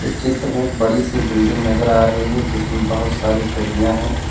चित्र में बड़ी सी बिल्डिंग नजर आ रही है जिसमें बहुत सारी खिड़कियां हैं।